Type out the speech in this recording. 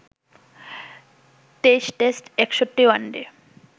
২৩ test, ৬১ one day